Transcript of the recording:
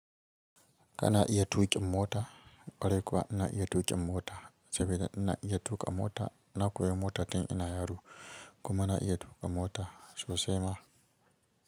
Kana iya tuƙin mota? Ƙwarai kuwa ina iya tuƙin mota, sabida ina iya tuƙa mota. Na koyi mota tun ina yaro, kuma na iya tuƙa mota sosai ma.